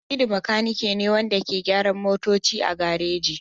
Hamidu makanike ne wanda ke gyaran motoci a gareji.